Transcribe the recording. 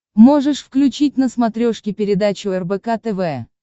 можешь включить на смотрешке передачу рбк тв